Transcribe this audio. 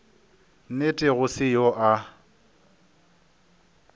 nnete go se yo a